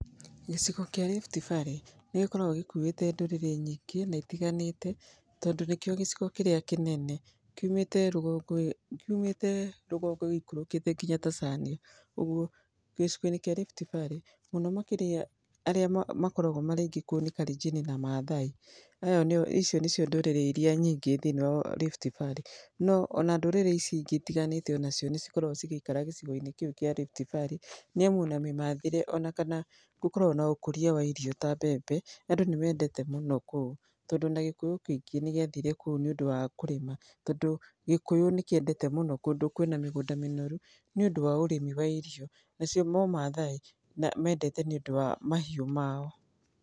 Gĩcigo kĩa Rift Valley nĩ gĩkoragwo gĩkuuĩte ndũrĩrĩ nyingĩ na itiganĩte, tondũ nĩkĩo gĩcigo kĩrĩa kĩnene, kiumĩte rũngongo gĩikũrũkĩte nginya Tanzania. Ũguo gĩcigo-inĩ kĩa Rift Valley, arĩa makoragwo marĩ aingĩ kuo nĩ Kalenjin na Maathai. Icio nicio ndũrĩrĩ iria nyingĩ thĩiniĩ wa Rift Valley. No ona ndũrĩrĩ ici ingĩ itiganĩte onacio nĩ cikoragwo cigĩikara gĩcigo-inĩ kĩu kĩa Rift Valley . Nĩ amu ona mĩmathĩre ona kana gũkoragwo na ũkũria wa irio ta mbembe, andũ nĩ mendete mũno kũu, tondũ ona Gĩkũyũ kĩingĩ nĩ gĩathire kũu nĩ ũndũ wa kũrĩma. Tondũ gĩkũyũ nĩ kĩendete mũno kũndũ kwĩna mĩgũnda mĩnoru nĩ ũndũ wa ũrĩmi wa irio. Nacio, no Maathai mendete nĩ ũndũ wa mahiũ mao.